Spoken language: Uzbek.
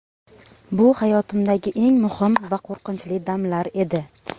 Bu hayotimdagi eng muhim va qo‘rqinchli damlar edi.